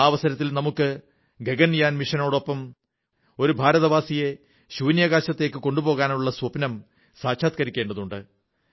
ആ അവസരത്തിൽ നമുക്ക് ഗഗൻയാൻ മിഷനോടൊപ്പം ഒരു ഭാരതവാസിയെ ബഹിരാകാശത്തിലേക്ക് കൊണ്ടുപോകാനുള്ള സ്വപ്നം സാക്ഷാത്കരിക്കേണ്ടതുണ്ട്